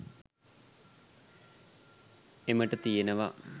එමට තියනවා.